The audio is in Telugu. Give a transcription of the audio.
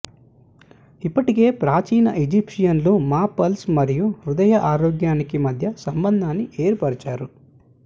ఇప్పటికే ప్రాచీన ఈజిప్షియన్లు మా పల్స్ మరియు హృదయ ఆరోగ్యానికి మధ్య సంబంధాన్ని ఏర్పరిచారు